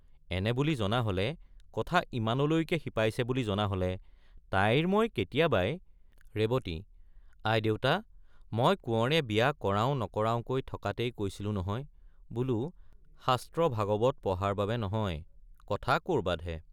এনে বুলি জনা হলে কথা ইমানলৈকে শিপাইছে বুলি জনা হলে তাইৰ মই কেতিয়াবাই— ৰেৱতী—আইদেউতা মই কোঁৱৰে বিয়া কৰাওঁ নকৰাওঁকৈ থকাতেই কৈছিলো নহয়—বোলো শাস্ত্ৰ ভাগৱত পঢ়াৰ বাবে নহয় কথা কৰবাতহে।